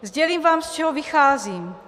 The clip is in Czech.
Sdělím vám, z čeho vycházím.